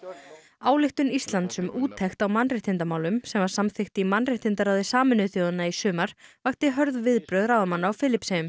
ályktun Íslands um úttekt á mannréttindamálum sem var samþykkt í mannréttindaráði Sameinuðu þjóðanna í sumar vakti hörð viðbrögð ráðamanna á Filippseyjum